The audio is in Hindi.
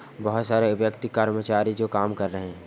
बोहोत सारे व्यक्ति कर्मचारी जो काम कर रहे हैं।